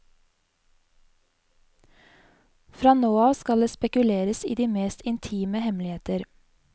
Fra nå av skal det spekuleres i de mest intime hemmeligheter.